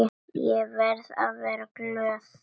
Ég verði að vera glöð.